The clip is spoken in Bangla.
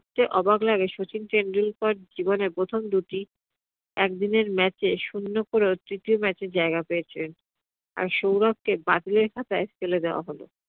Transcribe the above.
তে অবাক লাগে শচীন টেন্ডুলকার জীবনের প্রথম দুটি একদিনের match এ শূন্য করেও তৃতীয় match এ জায়গা পেয়েছিলেন, আর সৌরভকে বাতিলের খাতাই ফেলে দেওয়া হল